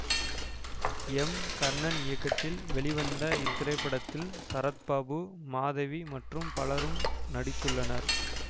M Karnan இயக்கத்தில் வெளிவந்த இத்திரைப்படத்தில் சரத் பாபு மாதவி மற்றும் பலரும் நடித்துள்ளனர்